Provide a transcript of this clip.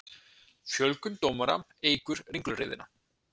Fjölgun dómara eykur ringulreiðina